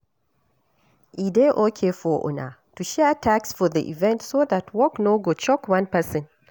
E dey okay for una to share tasks for di event so that work no go choke one person